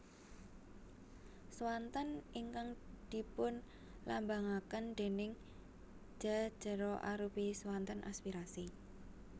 Swanten ingkang dipunlambangaken déning Ja jera arupi swanten aspirasi